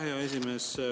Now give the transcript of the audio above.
Aitäh, hea esimees!